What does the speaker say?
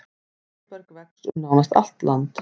Blóðberg vex um nánast allt land.